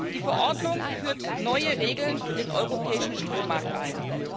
Die Verordnung führt neue Regeln für den europäischen Strommarkt ein.